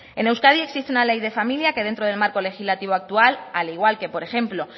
en euskadi existe una ley de familia que dentro del marco legislativo actual al igual que por ejemplo